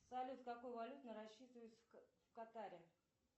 салют какой валютой рассчитываются в катаре